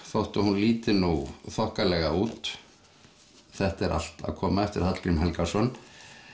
þótt hún líti nú þokkalega út þetta er allt að koma eftir Hallgrím Helgason